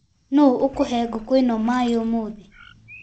Nũu ũkũhe ngukũ maĩ ũmũthĩ.